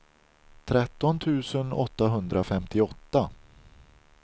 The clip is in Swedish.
tretton tusen åttahundrafemtioåtta